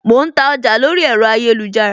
Mo ń ta ọjà lórí ẹ̀rọ ayélujára